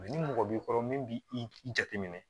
ni mɔgɔ b'i kɔrɔ min b'i i jateminɛ